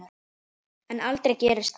En aldrei gerist það.